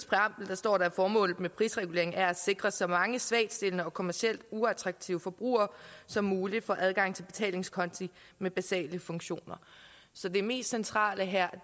står der at formålet med prisreguleringen er at sikre at så mange svagtstillede og kommercielt uattraktive forbrugere som muligt får adgang til betalingskonti med basale funktioner så det mest centrale her